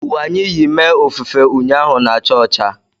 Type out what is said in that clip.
Uwe anyị yi mee ofufe ụnyaahụ na-acha ọcha